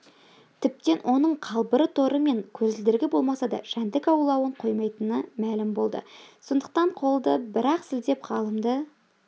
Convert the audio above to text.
тіптен оның қалбыры торы мен көзілдірігі болмаса да жәндік аулауын қоймайтыны мәлім болды сондықтан қолды бір-ақ сілтеп ғалымды